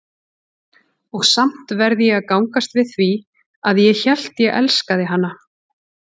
Og samt verð ég að gangast við því, að ég hélt ég elskaði hana.